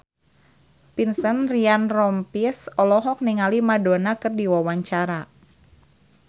Vincent Ryan Rompies olohok ningali Madonna keur diwawancara